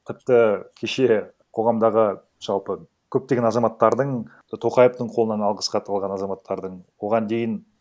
тіпті кеше қоғамдағы жалпы көптеген азаматтардың тоқаевтың қолынан алғыс хат алған азаматтардың оған дейін